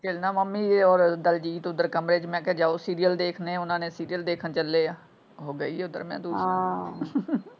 ਕਹਿੰਦਾ ਮੰਮੀ ਏ ਓਰ ਦਲਜੀਤ ਉਧਰ ਕਮਰੇ ਚ ਮੈਂ ਕਿਹਾ ਜਾਓ ਸੀਰੀਅਲ ਦੇਖਣੇ ਓਹਨਾ ਨੇ ਸੀਰੀਅਲ ਦੇਖਣ ਚੱਲੇ ਆ ਉਹ ਗਈ ਓਧਰ ਮੈਂ ਹਾਂ।